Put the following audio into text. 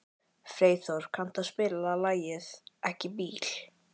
Freyþór, kanntu að spila lagið „Ekki bíl“?